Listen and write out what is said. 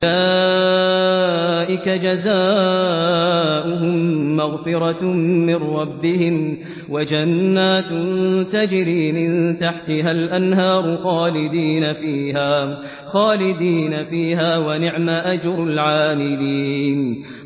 أُولَٰئِكَ جَزَاؤُهُم مَّغْفِرَةٌ مِّن رَّبِّهِمْ وَجَنَّاتٌ تَجْرِي مِن تَحْتِهَا الْأَنْهَارُ خَالِدِينَ فِيهَا ۚ وَنِعْمَ أَجْرُ الْعَامِلِينَ